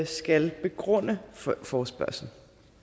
skal begrunde forespørgslen